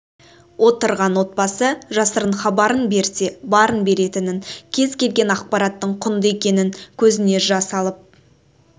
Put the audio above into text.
отырған отбасы жасырын хабарын берсе барын беретінін кез келген ақпараттың құнды екенін көзіне жас алып